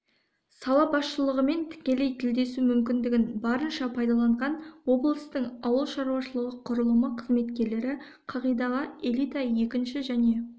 сала басшылығымен тікелей тілдесу мүмкіндігін барынша пайдаланған облыстың ауыл шаруашылығы құрылымы қызметкерлері қағидаға элита екінші және